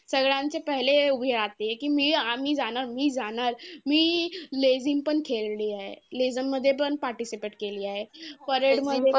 सगळ्यांच्या पहिले उभी राहायची. कि मी आम्ही जाणार मी जाणार मी लेझीम पण खेळलीये. लेझीममध्ये पण participate केली आहे. parade मध्ये